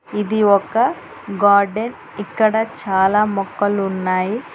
ఇది ఒక గార్డెన్ ఇక్కడ చాలా మొక్కలు ఉన్నాయి.